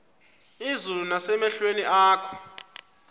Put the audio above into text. izulu nasemehlweni akho